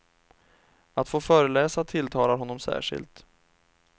Att få föreläsa tilltalar honom särskilt.